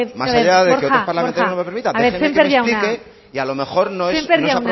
más allá de que otros parlamentarios no me lo permitan no a ver borja borja sémper jauna déjeme que me explique y a lo mejor no es apropiado